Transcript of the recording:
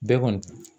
Bɛɛ kɔni